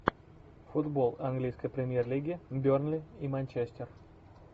футбол английской премьер лиги бернли и манчестер